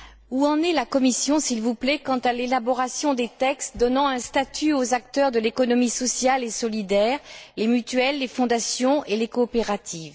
Où en est la Commission, s'il vous plaît, quant à l'élaboration des textes donnant un statut aux acteurs de l'économie sociale et solidaire les mutuelles, les fondations et les coopératives?